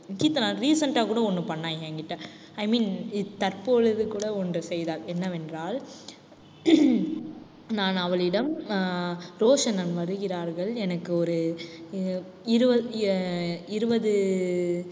Keerthana recent ஆ கூட ஒண்ணு பண்ணா என்கிட்ட. i mean தற்பொழுது கூட ஒன்று செய்தாள் என்னவென்றால் நான் அவளிடம் அஹ் ரோஷணன் வருகிறார்கள் எனக்கு ஒரு அஹ் இரு~ அஹ் இருபது